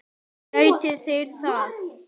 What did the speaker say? Geti þeir það?